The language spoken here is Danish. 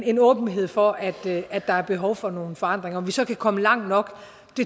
en åbenhed for at at der er behov for nogle forandringer om vi så kan komme langt nok